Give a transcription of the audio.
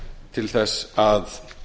til þess að